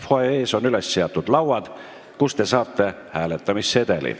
Fuajees on üles seatud lauad, kust te saate hääletamissedeli.